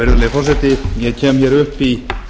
virðulegi forseti ég kem hér upp í